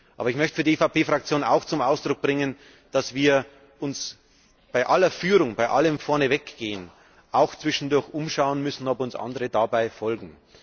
Aber ich möchte für die EVP Fraktion auch zum Ausdruck bringen, dass wir uns bei aller Führung, bei allem Vorneweggehen, auch zwischendurch umschauen müssen, ob uns andere dabei folgen.